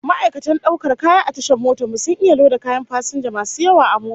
Ma'aikatan daukar kaya a tashan motar mu sun iya loda kayan fasinja masu yawa a mota